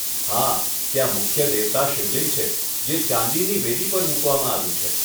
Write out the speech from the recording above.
હા, ત્યાં મુખ્ય દેવતા શિવલિંગ છે જે ચાંદીની વેદી પર મૂકવામાં આવ્યું છે.